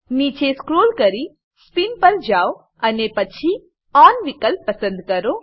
નીચે સ્ક્રોલ કરીને સ્પિન પર જાવ અને પછી ઓન વિકલ્પ પર ક્લિક કરો